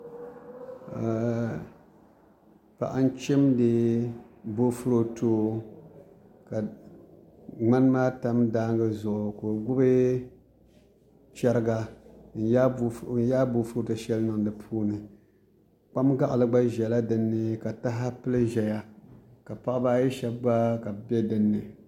Paɣa n chimdi boofurooto ka ŋmani maa tam daangi zuɣu ka o gbubi chɛriga n yaa boofurooto shɛli niŋ di puuni kpam gaɣali gba biɛla dinni ka taha pili ʒɛya ka Paɣaba ayi shab gba ka bi bɛ dinni